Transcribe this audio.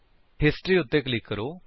history ਉੱਤੇ click ਕਰੋ